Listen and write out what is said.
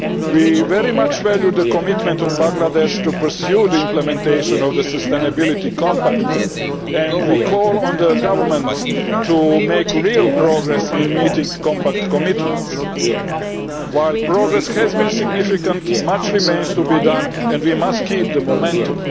We very much value the commitment of Bangladesh to pursuing the implementation of the Sustainability Compact and we call on the government to make real progress in meeting compact commitments. While progress has been significant, much remains to be done and we must keep up the momentum.